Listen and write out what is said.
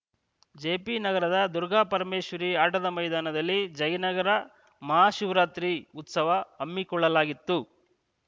ಜೆಪಿನಗರದ ದುರ್ಗಾಪರಮೇಶ್ವರಿ ಆಟದ ಮೈದಾನದಲ್ಲಿ ಜಯನಗರ ಮಹಾ ಶಿವರಾತ್ರಿ ಉತ್ಸವ ಹಮ್ಮಿಕೊಳ್ಳಲಾಗಿತ್ತು